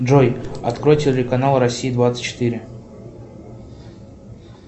джой открой телеканал россия двадцать четыре